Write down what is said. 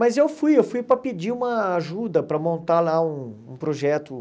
Mas eu fui, eu fui para pedir uma ajuda para montar lá um projeto.